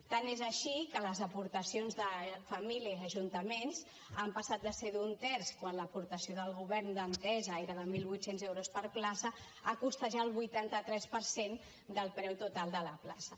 tant és així que les aportacions de famílies ajuntaments han passat de ser d’un terç quan l’aportació del govern d’entesa era de mil vuit cents euros per plaça a costejar el vuitanta tres per cent del preu total de la plaça